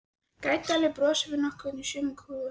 Grænn dalurinn brosir við okkur í sumarskrúðanum.